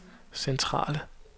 centrale